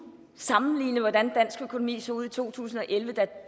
sammenlignet med hvordan dansk økonomi så ud i to tusind og elleve da